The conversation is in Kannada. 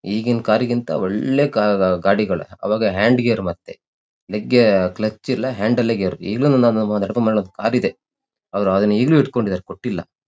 ಈಗಿನ್ ಕಾರ್ ಗಿಂತ ಒಳ್ಳೆ ಗಾಡಿಗಳು ಅವಾಗ ಹ್ಯಾಂಡ್ ಗೇರ್ ಮತ್ತೆ ಕ್ಲಕ್ಚ್ ಇಲ್ಲ. ಹ್ಯಾಂಡ್ ಅಲ್ಲೇ ಈಗಲೂ ದೊಡಪ್ಪನ್ ಮನೆಯಲ್ಲಿ ಒಂದ್ ಕಾರ್ ಇದೆ ಅವ್ರು ಅದನ್ನು ಇನ್ನು ಇಡ್ಕೊಂಡಿದಾರೆ ಕೊಟ್ಟಿಲ್ಲ.